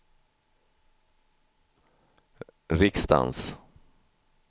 riksdagens